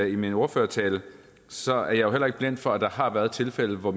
i min ordførertale så er jeg heller ikke blind for at der har været tilfælde hvor